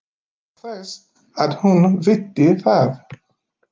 Án þess að hún viti það.